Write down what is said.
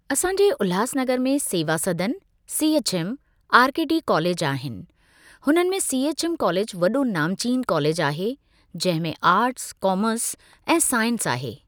असांजे उल्हासनगर में Seva Sadan CHM RKT college आहिनि हुननि में सीएचएम कॉलेज वॾो नामचीन कॉलेज आहे जंहिं में आर्ट्स, कॉमर्स ऐं साइंस आहे।